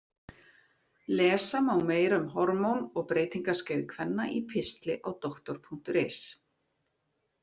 Lesa má meira um hormón og breytingaskeið kvenna í pistli á Doktor.is.